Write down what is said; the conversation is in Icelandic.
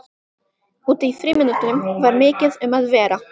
Úti í frímínútunum var mikið um að vera.